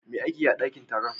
Me ake yi a dankin taro?